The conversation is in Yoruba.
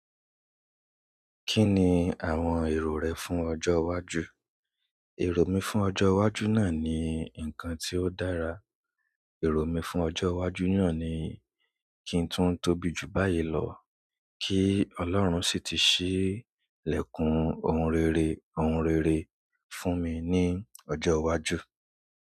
Kí ni àwọn èrò rẹ fún ọjọ́ wájú? Èrò mi fún ọjo wájú náà ni nǹkan tí ó dára. Èrò mi fún ọjọ́ iwájú náà ni kí n tún tóbi jù báyìí lọ kí Ọlọ́run sì ti ṣí ìlẹ̀kùn ohun rere, ohun rere fún mi ní ọjọ́ iwájú.